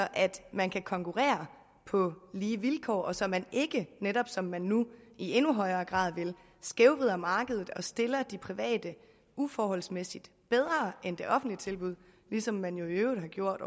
man kan konkurrere på lige vilkår og så man ikke netop som man nu i endnu højere grad vil skævvrider markedet og stiller de private uforholdsmæssigt bedre end de offentlige tilbud ligesom man jo i øvrigt har gjort